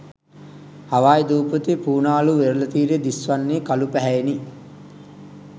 Hawaii දූපතේ Punaluu වෙරළ තීරය දිස්වන්නේ කළු පැහැයෙනි.